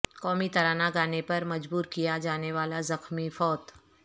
قومی ترانہ گانے پر مجبور کیا جانے والا زخمی فوت